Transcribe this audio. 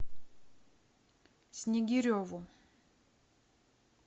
снегиреву